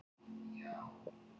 Og nú er Ásta öll.